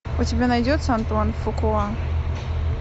у тебя найдется антуан фукуа